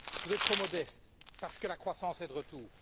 vous êtes trop modestes parce que la croissance est de retour.